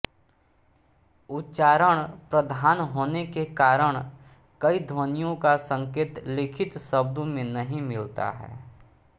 उच्चारणप्रधान होने के कारण कई ध्वनियों का संकेत लिखित शब्दों में नहीं मिलता है